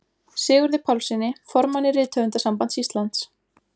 Sigurði Pálssyni, formanni Rithöfundasambands Íslands.